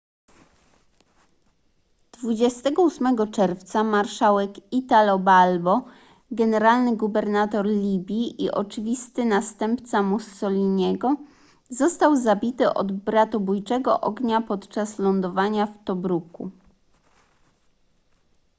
28 czerwca marszałek italo balbo generalny gubernator libii i oczywisty następca mussoliniego został zabity od bratobójczego ognia podczas lądowania w tobruku